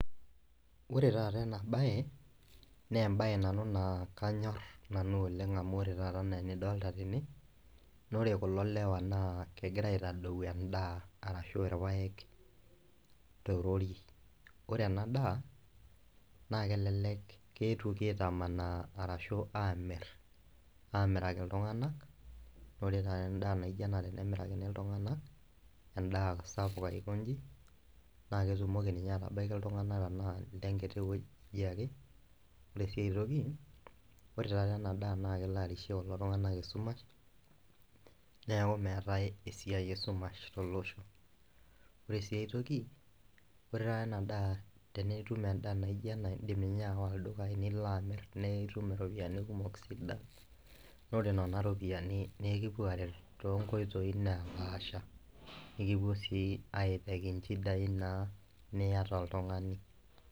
Ore taata enabae naa embae nanu naa kanyor nanu oleng amu ore taata enaa enidolta tene naa ore kulo lewa naa kegira aitadou endaa arashu irpaek torori ,ore ena daa naa kelelek keetwoki aitamanaa arashu amir , amiraki iltunganak , ore taata endaa naijo ena tenemirakini iltunganak endaa sapuk aikonji naa ketumoki ninye atabaiki iltunganak tenaa ile nkiti wueji ake . Ore siae toki , ore taata enadaa naa kelo arishie kulo tunganak esumash , neeku meetae esiai esumash tolosho .Ore siae toki ,ore taata enadaa tenitum endaa naijo ena , indim ninye awa ildukai , nilo amir naa itum iropiyiani kumok sidan naa ore nena ropiyiani nee ekipuo aret toonkoitoi naapasha , nikipuo sii aitaki nchidai niata oltungani.